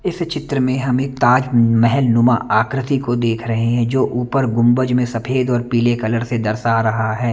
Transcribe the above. इस चित्र में हमें एक ताज महल नुमा आकृति को देख रहे हैं जो ऊपर गुम्बज में सफ़ेद और पीले कलर से दर्शा रहा है।